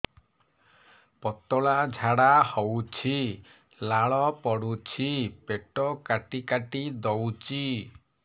ପତଳା ଝାଡା ହଉଛି ଲାଳ ପଡୁଛି ପେଟ କାଟି କାଟି ଦଉଚି